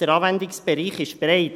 Der Anwendungsbereich ist breit.